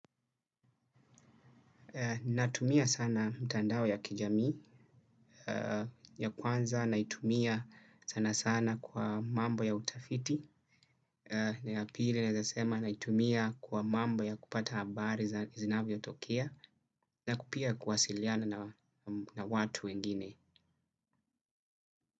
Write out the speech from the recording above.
Natumia sana mtandawo ya kijami ya kwanza naitumia sana sana kwa mambo ya utafiti na ya pili naezasema na itumia kwa mambo ya kupata habari za izinavyo tokea na kupia kwasiliana na watu wengine.